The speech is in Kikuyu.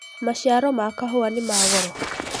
maciaro ma kahũa nĩma goro